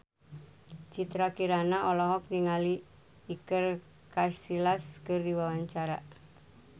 Citra Kirana olohok ningali Iker Casillas keur diwawancara